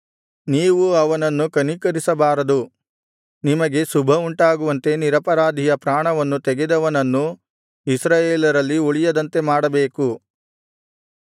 ನೀವು ಅವನನ್ನು ಕನಿಕರಿಸಬಾರದು ನಿಮಗೆ ಶುಭವುಂಟಾಗುವಂತೆ ನಿರಪರಾಧಿಯ ಪ್ರಾಣವನ್ನು ತೆಗೆದವನನ್ನು ಇಸ್ರಾಯೇಲರಲ್ಲಿ ಉಳಿಯದಂತೆ ಮಾಡಬೇಕು